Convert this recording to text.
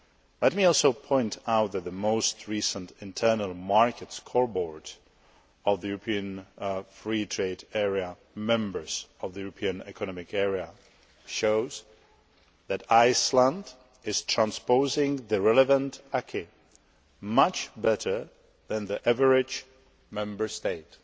Let me also point out that the most recent internal market scoreboard of the European Free Trade Area members of the European Economic Area shows that Iceland is transposing the relevant acquis much better than the average Member State.